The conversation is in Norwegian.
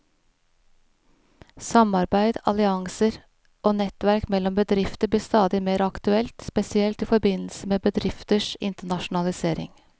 Samarbeid, allianser og nettverk mellom bedrifter blir stadig mer aktuelt, spesielt i forbindelse med bedrifters internasjonalisering.